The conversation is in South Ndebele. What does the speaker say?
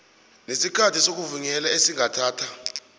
nesikhathi sokuvunyelwa esingathatha